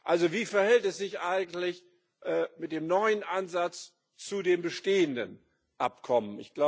Also, wie verhält es sich eigentlich mit dem neuen Ansatz zu den bestehenden Abkommen?